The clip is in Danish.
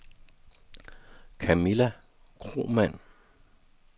Camilla Kromann